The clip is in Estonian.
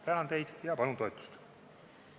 Tänan teid ja palun toetust!